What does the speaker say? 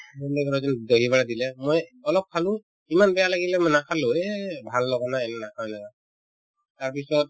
dahi wada দিলে মই অলপ খালো ইমান বেয়া লাগিলে মই নাখালো ৰে ভাল লগা নাই নাখাও যা তাৰপিছত